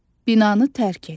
Binanı tərk et.